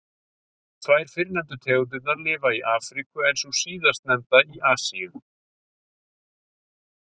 Tvær fyrr nefndu tegundirnar lifa í Afríku en sú síðastnefnda í Asíu.